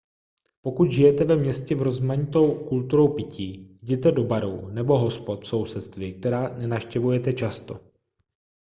pokud žijete ve městě v rozmanitou kulturou pití jděte do barů nebo hospod v sousedství která nenavštěvujete často